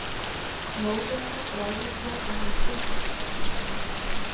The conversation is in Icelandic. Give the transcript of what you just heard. Móðurinni bregður svo að hún sturlast.